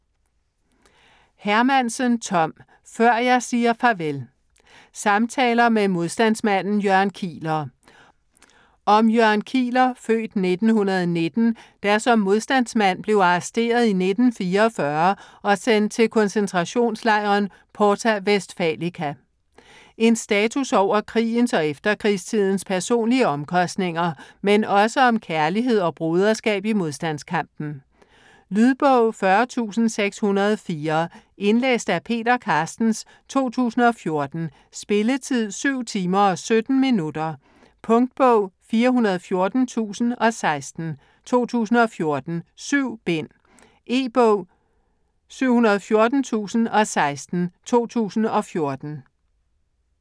Hermansen, Tom: Før jeg siger farvel Samtaler med modstandsmanden Jørgen Kieler. Om Jørgen Kieler (f. 1919), der som modstandsmand blev arresteret i 1944 og sendt til koncentrationslejren Porta Westfalica. En status over krigens og efterkrigstidens personlige omkostninger - men også om kærlighed og broderskab i modstandskampen. Lydbog 40604 Indlæst af Peter Carstens, 2014. Spilletid: 7 timer, 17 minutter. Punktbog 414016 2014. 7 bind. E-bog 714016 2014.